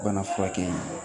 Bana furakɛ ye